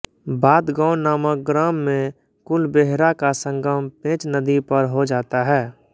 बादगाँव नामक ग्राम में कुलबेहरा का संगम पेंच नदी पर हो जाता है